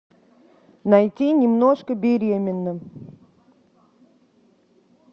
найти немножко беременна